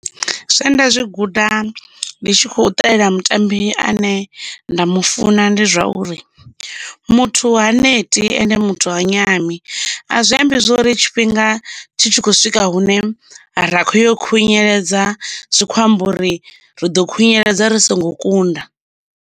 Zwe nda zwi guda ndi tshi kho ṱalela mutambi ane nda mu funa ndi zwauri muthu ha neti ende muthu ha nyami a zwi ambi zwori tshifhinga tshi tshi khou swika hune ra khoyo khunyeledza zwikho amba uri ri ḓo khunyeledza ri songo kunda.